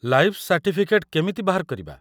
Life certificate କେମିତି ବାହାର କରିବା?